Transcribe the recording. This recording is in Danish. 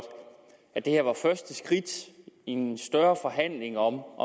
at det her var første skridt i en større forhandling om